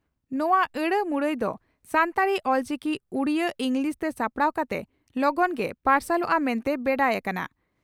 ᱱᱚᱣᱟ ᱟᱹᱲᱟᱹᱢᱩᱨᱟᱹᱭ ᱫᱚ ᱥᱟᱱᱛᱟᱲᱤ (ᱚᱞᱪᱤᱠᱤ) ᱩᱰᱤᱭᱟᱹ ᱤᱸᱜᱽᱞᱤᱥᱛᱮ ᱥᱟᱯᱲᱟᱣ ᱠᱟᱛᱮ ᱞᱚᱜᱚᱱ ᱜᱮ ᱯᱟᱨᱥᱟᱞᱚᱜᱼᱟ ᱢᱮᱱᱛᱮ ᱵᱮᱰᱟᱭ ᱟᱠᱟᱱᱟ ᱾